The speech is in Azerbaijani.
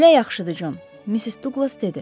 Belə yaxşıdır, Con, Missis Duqlas dedi.